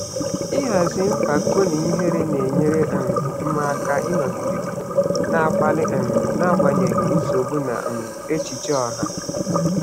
Ịhazi mpako na ihere na-enyere um m aka ịnọgide na-akpali um n'agbanyeghị nsogbu na um echiche ọha.